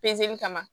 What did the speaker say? Pezeli kama